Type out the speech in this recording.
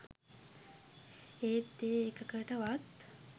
ඒත් ඒ එකකට වත්